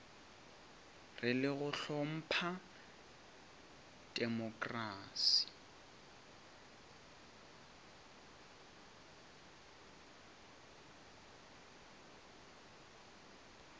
e le go hlompha temokrasi